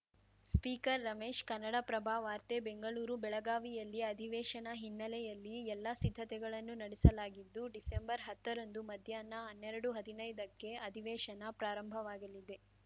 speaker Ramesh Kannada Prabha ವಾರ್ತೆ ಬೆಂಗಳೂರು ಬೆಳಗಾವಿಯಲ್ಲಿ ಅಧಿವೇಶನ ಹಿನ್ನೆಲೆಯಲ್ಲಿ ಎಲ್ಲಾ ಸಿದ್ಧತೆಗಳನ್ನು ನಡೆಸಲಾಗಿದ್ದು ಡಿಹತ್ತರಂದು ಮಧ್ಯಾಹ್ನ ಹನ್ನೆರಡುಹದಿನೈದಕ್ಕೆ ಅಧಿವೇಶನ ಪ್ರಾರಂಭವಾಗಲಿದೆ